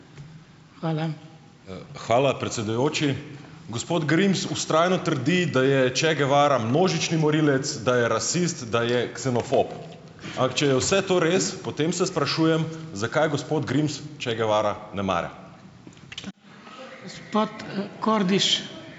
Hvala, predsedujoči. Gospod Grims vztrajno trdi, da je Che Guevara množični morilec, da je rasist, da je ksenofob. Če je vse to res, potem se sprašujem, zakaj gospod Grims Che Guevara ne mara.